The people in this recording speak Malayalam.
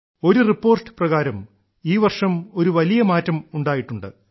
ഒരു റിപ്പോർട്ട് പ്രകാരം ഈ വർഷം ഒരു വലിയ മാറ്റം ഉണ്ടായിട്ടുണ്ട്